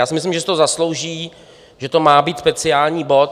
Já si myslím, že si to zaslouží, že to má být speciální bod.